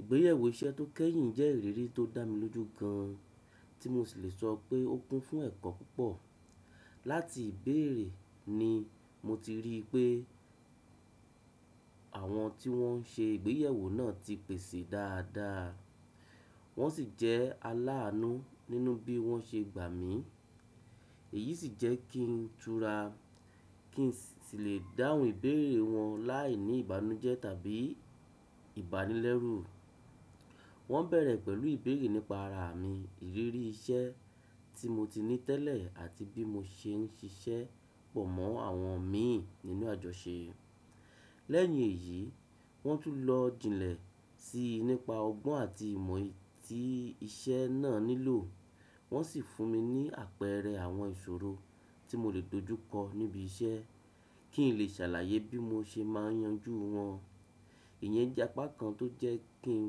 Ìgbéyewó iṣẹ́ tó kẹ́yìn jẹ́ ìrírí tó dá mi lójú gan an, tí mo sì lè sọ pé ó kún fún ẹ̀kọ́ púpọ̀. Láti ìbéèrè ni mo ti rí pé àwọn tí wọ́n se ìgbéyewó náà ti pèsè dáadáa, wọ́n sì jẹ́ aláàánú nínú bí wọ́n ṣe gbà mí. Èyí sì jẹ́ kí n tura kí n sì lè dáhùn ìbéèrè wọn láìní ìbànújẹ́ tàbí ìbánilẹ́rù. Wọ́n bẹ̀rẹ̀ pẹ̀lú ìbéèrè nípa ara mi, ìrírí iṣẹ́ tí mo ti ní tẹ́lẹ̀ àti bí mo ṣe ń ṣiṣẹ́ pọ̀ mọ́ àwọn mi nínú àjọ ṣe. Lẹ́yìn èyí, wọ́n tún lọ jinlẹ̀ sí i nípa ọgbọ́n àti ìmọ̀ tí iṣẹ́ náà nílò. Wọ́n sì fún mi ní àpẹẹrẹ àwọn ìṣòro tí mo lè dojúkọ níbi iṣẹ́ kí n lè ṣàlàyé bí mo ṣe máa yanjú wọn. Ìyẹn jẹ́ apá kan tó jẹ́ kí n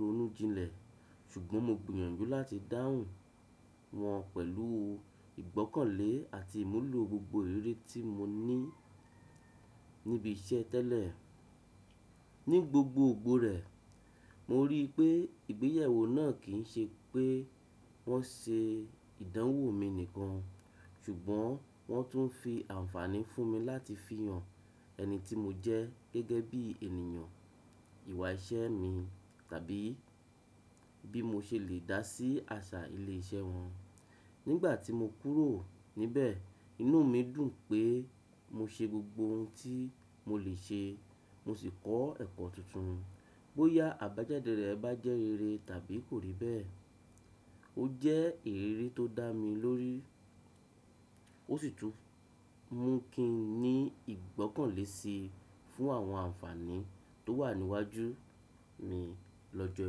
ronú jinlẹ̀, ṣùgbọ́n mo gbìyànjú láti dáhùn wọ́n pẹ̀lú ìgbọ́kànlé àti ìmúlò gbogbo ìrírí tí mo ní níbi iṣẹ́ tẹ́lẹ̀. Ni gbogbo gbòòrè, mo rí i pé ìgbéyewó náà kì ń ṣe pé wọ́n ṣe ìdánwò mi nìkan; ṣùgbọ́n wọ́n tún fi àǹfààní fún mi láti fihàn ẹni tí mo jẹ́ gẹ́gẹ́ bí ènìyàn, ìwà iṣẹ́ mi tàbí bí mo ṣe lè dá sí àṣà ilé iṣẹ́ wọn. Nígbà tí mo kúrò níbẹ̀, inú mi dùn pé mo ṣe gbogbo ohun tí mo lè ṣe, mo sì kọ́ ẹ̀kọ́ tuntun. Bóyá àbájáde rẹ̀ bá jẹ́ rere tàbí kò rí bẹ́ẹ̀, ó jẹ́ ìrírí tó dá mi lórí, ó sì tún mú kí n ní ìgbọ́kànlé si fún àwọn àǹfààní tó wà níwájú mi lọ́jọ́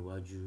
iwájú.